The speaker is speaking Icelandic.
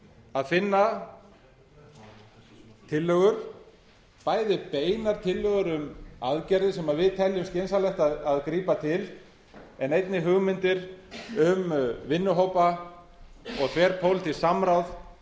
að finna tillögur bæði beinar tillögur um aðgerðir sem við teljum skynsamlegt að grípa til en einnig hugmyndir um vinnuhópa og þverpólitískt